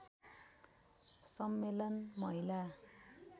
सम्मेलन महिला